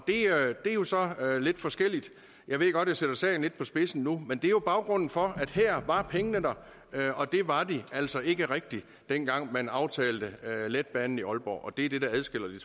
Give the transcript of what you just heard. er jo så lidt forskelligt jeg ved godt jeg sætter sagen lidt på spidsen nu men er baggrunden for her var pengene der og det var de altså ikke rigtig dengang man aftalte letbanen i aalborg det er det der adskiller de